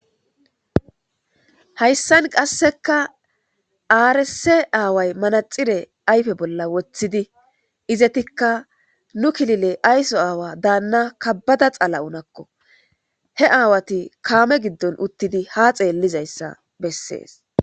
Hayssan qasekka aresse away manaxire ayfe bolla woththidi izettika nu kilile ayso aawa daanna kabada xala'o naakko he aawati kaame giddon uttidii ha xellizayssa besses